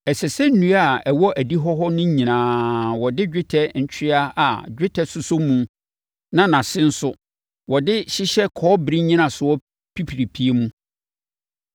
Ɛsɛ sɛ nnua a ɛwɔ adihɔ hɔ no nyinaa wɔde dwetɛ ntweaa a dwetɛ sosɔ mu na nʼase no nso, wɔde hyehyɛ kɔbere nnyinasoɔ pipiripie mu.